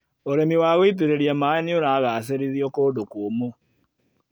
ũrĩmi wa gũitĩrĩria maĩ nĩũragacĩrithio kũndũ kũmũ.